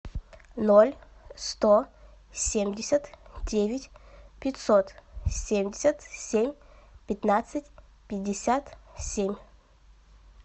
ноль сто семьдесят девять пятьсот семьдесят семь пятнадцать пятьдесят семь